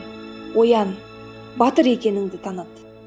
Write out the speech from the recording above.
оян батыр екеніңді таныт